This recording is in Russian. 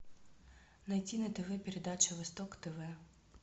найти на тв передачу восток тв